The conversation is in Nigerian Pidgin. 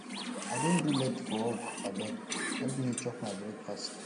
i don do late for work abeg help me chop my breakfast